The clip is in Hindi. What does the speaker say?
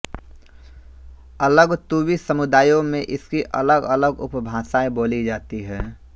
अलग तूवी समुदायों में इसकी अलगअलग उपभाषाएँ बोली जाती हैं